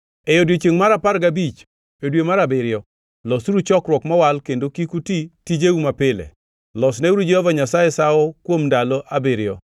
“ ‘E odiechiengʼ mar apar gabich e dwe mar abiriyo, losuru chokruok mowal kendo kik uti tijeu mapile. Losneuru Jehova Nyasaye sawo kuom ndalo abiriyo.